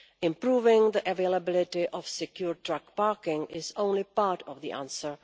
Improving the availability of secure truck parking is only part of the answer.